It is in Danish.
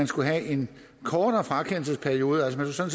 skulle være en kortere frakendelsesperiode altså